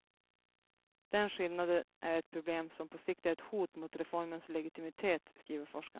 Den skillnaden är ett problem som på sikt är ett hot mot reformens legitimitet, skriver forskarna.